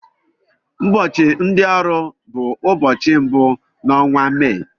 Ụbọchị ndị ọrụ bụ ụbọchị mbụ n'onwa Mee.